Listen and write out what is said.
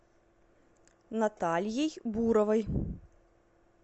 натальей буровой